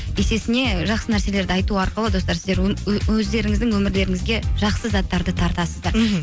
есесіне жақсы нәрселерді айту арқылы достар сіздер өздеріңіздің өмірлеріңізге жақсы заттарды тартасыздар мхм